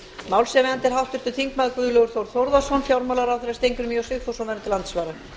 málshefjandi er háttvirtur þingmaður guðlaugur þór þórðarson fjármálaráðherra steingrímur j sigfússon verður til andsvara